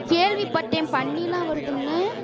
கேள்விப்பட்டேன் பண்ணி எல்லாம் வருதுன்னு